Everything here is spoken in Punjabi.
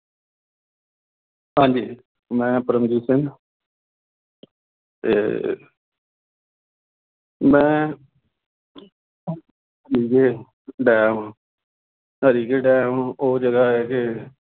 ਹਾਂਜੀ ਮੈਂ ਪਰਮਜੀਤ ਸਿੰਘ ਅਤੇ ਮੈਂ ਹਰੀਕੇ ਡੈਮ, ਹਰੀਕੇ ਡੈਮ ਉਹ ਜਗ੍ਹਾ ਹੈ ਕਿ